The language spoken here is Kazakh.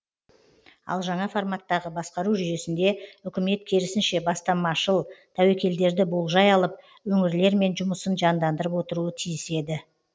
ал жаңа форматтағы басқару жүйесінде үкімет керісінше бастамашыл тәуекелдерді болжай алып өңірлермен жұмысын жандандырып отыруы тиіс еді